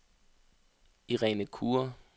Irene Kure